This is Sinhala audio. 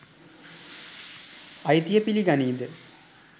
අයිතිය පිලි ගනීද?